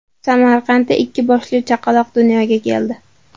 Samarqandda ikki boshli chaqaloq dunyoga keldi.